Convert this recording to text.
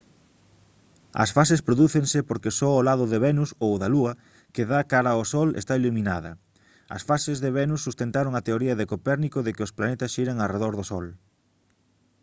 as fases prodúcense porque só o lado de venus ou da lúa que dá cara ao sol está iluminada. as fases de venus sustentaron a teoría de copérnico de que os planetas xiran arredor do sol